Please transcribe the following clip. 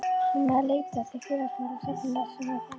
Mamma hafði leitað til Félagsmála stofnunar sem fann henni heimili.